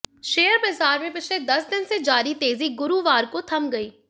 share बाजार में पिछले दस दिन से जारी तेजी गुरुवार को थम गई